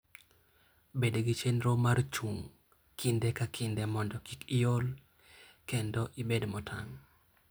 Bed gi chenro mar chung' kinde ka kinde mondo kik iol kendo ibed motang'.